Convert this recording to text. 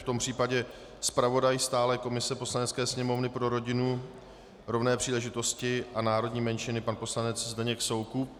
V tom případě zpravodaj stálé komise Poslanecké sněmovny pro rodinu, rovné příležitosti a národní menšiny, pan poslanec Zdeněk Soukup.